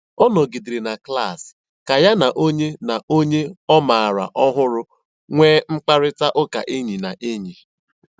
Ọ nọ̀gìdèrè na klas kà ya na ònyè ọ na ònyè ọ mààra ọ̀hụrụ́ nwéé mkpáịrịtà ụ́ka ényì na ényì.